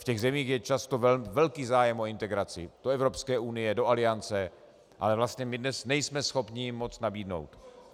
V těch zemích je často velký zájem o integraci do Evropské unie, do Aliance, ale vlastně my dnes nejsme schopni jim moc nabídnout.